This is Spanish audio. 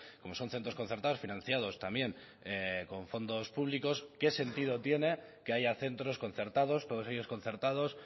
como son centros concertados financiados también con fondos públicos qué sentido tiene que haya centros concertados todos ellos concertados